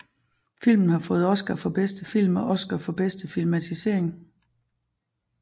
Filmen har fået Oscar for bedste film og Oscar for bedste filmatisering